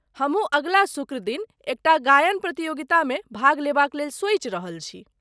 हमहूँ अगिला शुक्र दिन एकटा गायन प्रतियोगितामे भाग लेबाक लेल सोचि रहल छी।